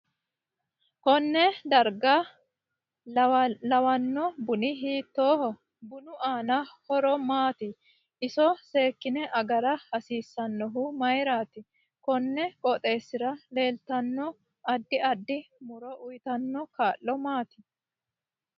Konne darga lewlanno buni hiitooho bunu aano horo maati iso seekine agara hasiisannohu mayiirati konni qooxeesira leeltabno addi adid muro uyiitanno kaa'lo maati